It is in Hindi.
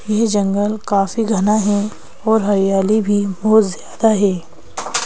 यह जंगल काफी घना है और हरियाली भी बहुत ज्यादा है।